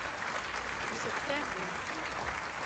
V septembru!